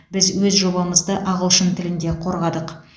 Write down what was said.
біз өз жобамызды ағылшын тілінде қорғадық